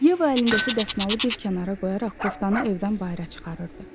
Yeva əlindəki dəsmalı bir kənara qoyaraq koftanı evdən bayıra çıxarırdı.